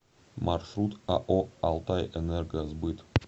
маршрут ао алтайэнергосбыт